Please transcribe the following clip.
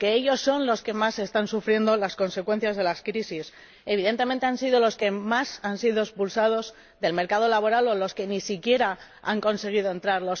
porque ellos son los que más están sufriendo las consecuencias de las crisis. Evidentemente, han sido los que más han sido expulsados del mercado laboral o los que ni siquiera han conseguido entrar